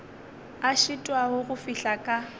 a šitwago go fihla ka